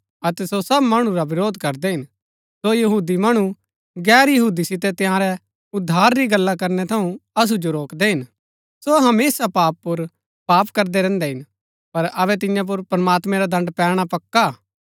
सो यहूदी मणु गैर यहूदी सितै तंयारै उद्धार री गल्ला करनै थऊँ असु जो रोकदै हिन सो हमेशा पाप पुर पाप करदै रैहन्दै हिन पर अबै तियां पुर प्रमात्मैं रा दण्ड पैणा पक्का हा